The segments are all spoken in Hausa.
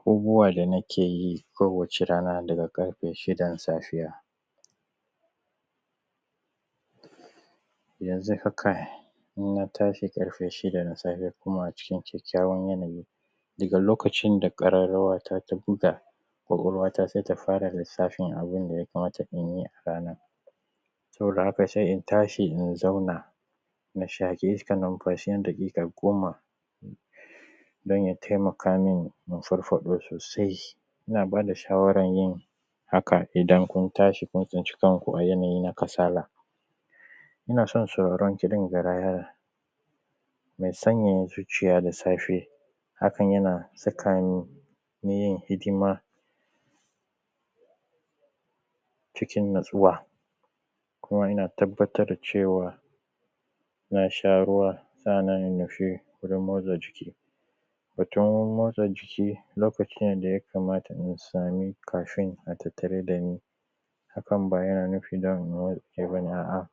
Abubuwaan da nake yi kowace rana daga ƙarfe shidan safiya, yanzun haka in na tashi ƙarfe shida na safe kuma a cikin kyakkyawan yanayi daga lokacin da ƙararrawa ta ta buga, kwakwalwata sai ta fara lissafin abin da ya kamata in yi a ranan saboda haka sai in tashi in zauna in shaki iskan numfashi na daƙiƙa goma dan ya taimaka mini in farfaɗo sosai. Ina ba da shawaran yin hakan idan kun tashi kun tsinci kanku a yanayi na kasala ina san sauraran kiɗan garaya, yana sanyaya zuciya da safe hakan yana saka ni yin hidima cikin natsuwa kuma ina tabbatar da cewa na sha ruwa sannan in nufi wajan motsa jiki. Wajan motsa jiki lokaci ne da ya kamata in samin ƙafi na tattare da ni hakan ba yana nufin dan wani warge ba ne, a’a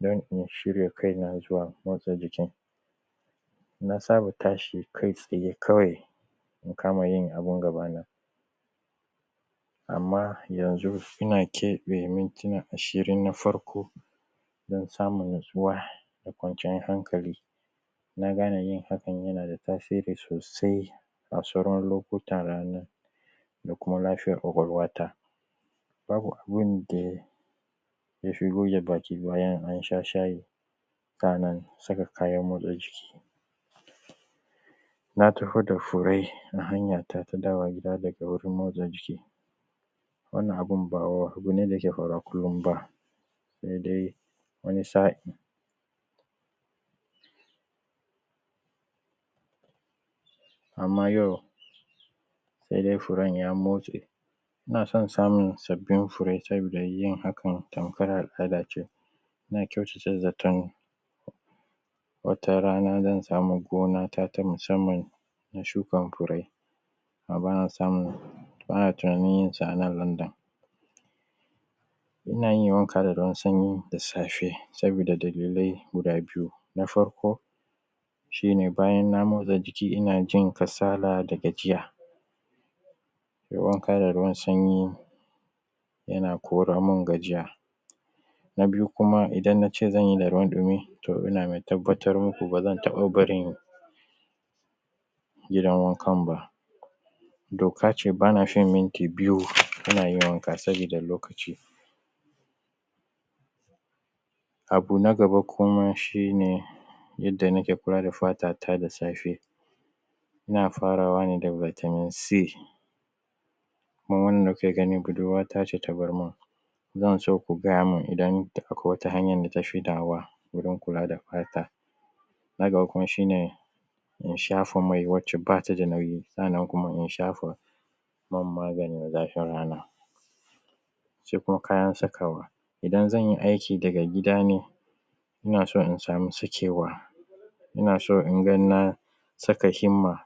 dan in shirya kai na zuwa motsa jikin na saba tashi kai tsaye in kama yin abin gabana, amma yanzun ina keɓe mintuna ashirin na farko in samu natsuwa da kwanciyan hankali. Na gane yin hakan yana ta tasiri sosai a sauran lokutan ranan da kuma lafiyar kwakwalwata ba abun da ya fi goge baki, bayan an sha shayi kana saka kayan motsa jiki na taho da fure a hanyata ta dawowa gida daga wajen motsa jiki wannan abun ba abu ne dake faruwa kullum ba sai dai wani sa’in. Amma yau sai dai furen ya motsse ina san samun sabbin fure sabida hakan tamkar al’adace, ina kyautata zaton watarana zan samu gonata ta musamman in shukan fure ba na tunanin yin sa a nan London. Ina yin wanka da ruwan sanyi da safe sabida dalilai guda biyu na farko shi ne bayan na motsa jiki ina jin kasala da gajiya, nai wanka da ruwan sanyi yana koramun gajiya, na biyu kuma idan na ce zan yi da ruwan dumi ina mai tabbatar muku ba zan iya barin gidan wankan ba doka ce ba na shan minti biyu ina wanka saboda lokaci. Abu na gaba kuma shi ne yanda nake kula da fatata da safe, ina farawa ne da vitamin c, kuma wannan kuke gani budurwa ta ce ta ban, zan so ku gaya min idan da kawai wata hanyan da kuke shaidawa dan kula da fata, shi ne in shafa mai wacca ba ta da nauyi sannan kuma in shafe man maganin rana, in ciro kayan sakawa idan zan yi aiki daga gida ne, ina so in samu sakewa, ina so inji na saka himma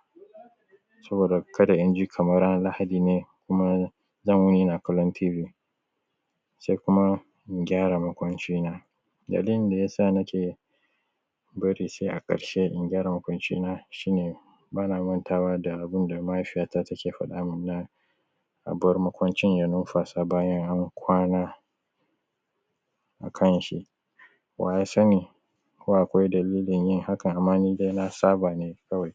saboda in ji kamar ranan lahadi ne kuma zan saka himma ina kallon tv, sai kuma in gyara makwancina dalilin da ya sa na ce na bari sai a ƙarshe in gyara makwancina shi ne ba na mantawa da abun da mahaifiyata take faɗamin na a bar makwanacin ya nunfasa bayan an kwana akan shi, wa ya sanai ko akwai dalilin yin hakan? Amma ni dai na saba ne kawai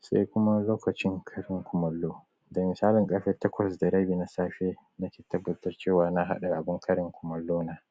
sai kuma lokacin karin kumallo da misali ƙarfe takwas da rabi na safe nake tabbata cewa na haɗa kumallo na.